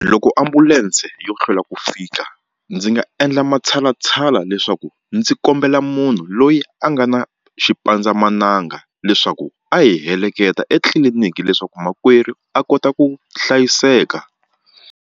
Loko ambulense yo hlwela ku fika ndzi nga endla matshalatshala leswaku ndzi kombela munhu loyi a nga na xipandzamananga leswaku a hi heleketa etliliniki leswaku makwerhu a kota ku hlayiseka.